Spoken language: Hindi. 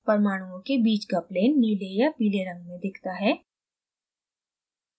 परमाणुओं के बीच का plane नीले या पीले रंग में दिखता है